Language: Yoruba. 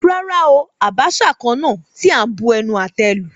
Rárá oo, Abacha kan náà tí a ń bu ẹnu àtẹ́ lù.